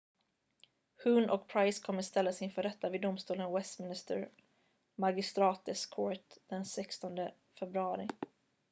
huhne och pryce kommer att ställas inför rätta vid domstolen westminster magistrates court den 16 februari